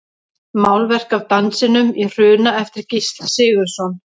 Málverk af Dansinum í Hruna eftir Gísla Sigurðsson.